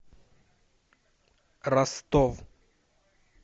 ростов